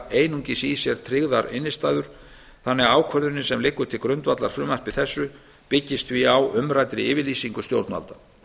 einungis í sér tryggðar innstæður þannig að ákvörðunin sem liggur til grundvallar frumvarpi þessu byggist því á umræddri yfirlýsingu stjórnvalda